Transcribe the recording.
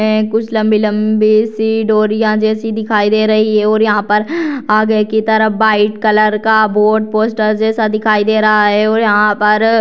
है कुछ लंबी-लंबी से डोरियां जैसे दिखाई दे रही हैं यहां पर आगे की तरफ व्हाइट कलर का बोर्ड पोस्टर जैसा दिखाई दे रहा है और यहां पर --